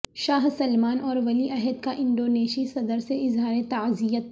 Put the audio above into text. شاہ سلمان اور ولی عہد کا انڈونیشی صدر سے اظہار تعزیت